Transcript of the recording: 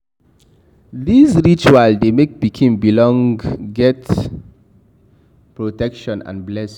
These rituals de make pikin belong get protection and blessings